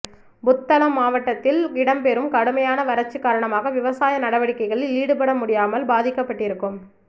புத்தளம் மாவட்டத்தில் இடம்பெறும் கடுமையான வரட்சி காரணமாக விவசாய நடவடிக்கைகளில் ஈடுபடமுடியாமல் பாதிக்கப்பட்டிருக்கும்